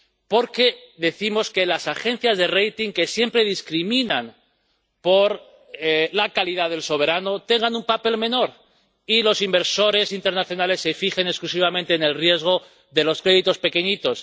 Porque defendemos que las agencias de calificación, que siempre discriminan por la calidad del soberano, tengan un papel menor y los inversores internacionales se fijen exclusivamente en el riesgo de los créditos pequeñitos.